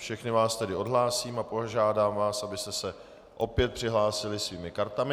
Všechny vás tedy odhlásím a požádám vás, abyste se opět přihlásili svými kartami.